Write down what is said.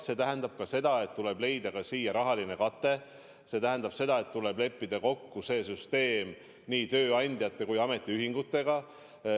See tähendab ka seda, et tuleb leida rahaline kate, see tähendab seda, et tuleb leppida kokku see süsteem nii tööandjate kui ametiühingutega.